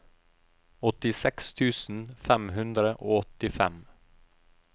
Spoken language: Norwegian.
åttiseks tusen fem hundre og fem